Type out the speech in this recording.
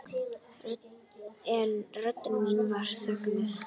En rödd mín var þögnuð.